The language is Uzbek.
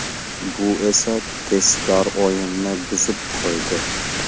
Bu esa tezkor o‘yinni buzib qo‘ydi.